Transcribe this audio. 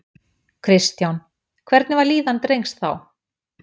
Kristján: Hvernig var líðan drengs þá?